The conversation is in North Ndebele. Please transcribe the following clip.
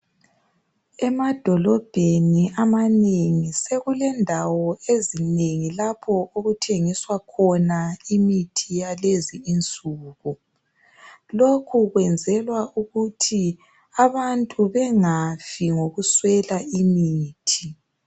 Emadolobheni amanengi sekulendawo ezinengi lapho okuthengiswa khona imithi yalezinsuku lokhu kwenzelwa ukuthi abantu bengafi ngokuswela imithi.